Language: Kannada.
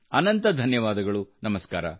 ಅನಂತ ಧನ್ಯವಾದಗಳು ನಮಸ್ಕಾರ